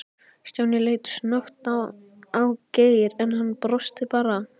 Stjáni leit snöggt á Geir, en hann brosti bara.